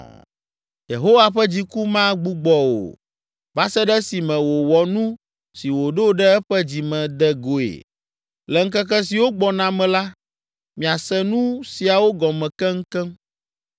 Yehowa ƒe dziku magbugbɔ o va se ɖe esime wòwɔ nu si wòɖo ɖe eƒe dzi me de goe. Le ŋkeke siwo gbɔna me la, miase nu siawo gɔme keŋkeŋ.